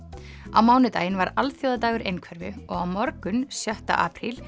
á mánudaginn var alþjóðadagur einhverfu og á morgun sjötta apríl